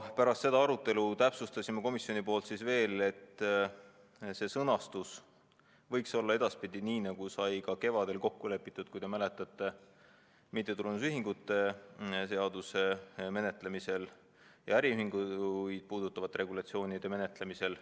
Pärast seda arutelu täpsustasime komisjonis veel, et see sõnastus võiks olla edaspidi nii, nagu sai ka kevadel kokku lepitud, kui te mäletate, mittetulundusühinguid ja äriühinguid puudutavate seaduste menetlemisel.